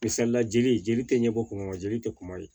Misalila jeli jeli te ɲɛbɔ kuma na jeli te kuma ye